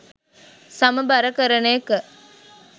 සමබර කරන එක